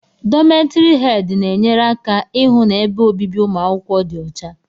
Dómeti hedi na enyere aka ịhụ na ebe obibi umuakwukwo dị ọcha.